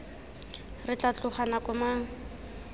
re tla tloga nako mang